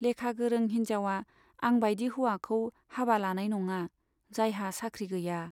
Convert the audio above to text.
लेखा गोरों हिन्जावआ आं बाइदि हौवाखौ हाबा लानाय नङा , जायहा साख्रि गैया।